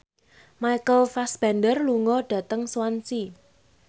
Michael Fassbender lunga dhateng Swansea